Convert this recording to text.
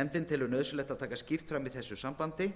nefndin telur nauðsynlegt að taka skýrt fram í þessu sambandi